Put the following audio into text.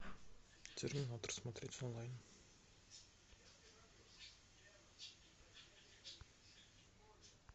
терминатор смотреть онлайн